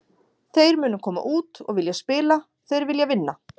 Þeir munu koma út og vilja spila, þeir vilja vinna.